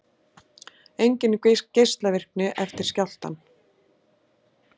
Engin geislavirkni eftir skjálftann